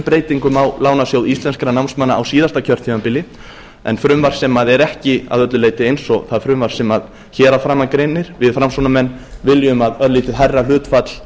breytingu á lánasjóði íslenskum námsmanna á síðasta kjörtímabili en frumvarp sem er ekki að öllu leyti eins og það frumvarp sem hér að framan greinir við framsóknarmenn viljum að örlítið hærra hlutfall